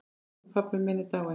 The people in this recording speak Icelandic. Elsku pabbi minn er dáinn.